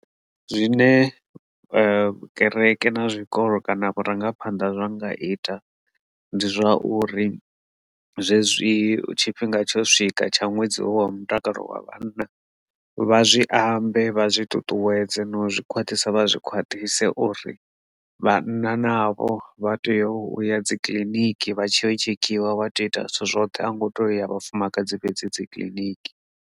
Zwine kereke na zwikolo kana vhurangaphanḓa zwa nga ita ndi zwauri zwezwi tshifhinga tsho swika tsha ṅwedzi wa mutakalo wa vhanna vha zwi ambe vha zwi ṱuṱuwedze no zwi khwaṱhisa vha zwi khwaṱhise uri vhanna navho vha tea uya dzikiḽiniki vha tshi tshekhiwa wa tea u ita zwithu zwoṱhe a ngo to ya vhafumakadzi fhedzi dzi kiḽiniki.